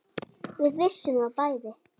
Við vissum það bæði.